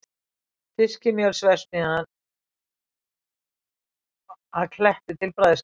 Fiskimjölsverksmiðjuna að Kletti til bræðslu.